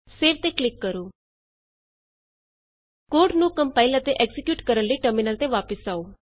save ਤੇ click ਕਰੋ code ਨੂੰ ਕੰਪਾਇਲ ਅਤੇ ਐਕਜ਼ੀਕਿਯੂਟ ਕਰਨ ਲਈ ਟਰਮਿਨਲ ਤੇ ਵਾਪਸ ਆਉ